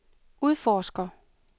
udforsker